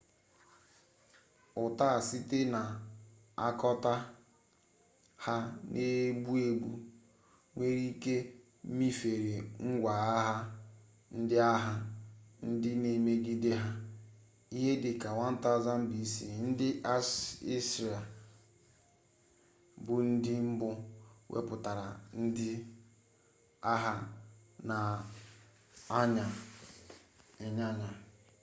uta site na akota ha n'egbu-egbu nwere-ike mifere ngwa-agha ndi agha ndi na emigede ha ihe dika 1000 b.c. ndi assyria bu ndi mbu weputara ndi agha n'anya inyanya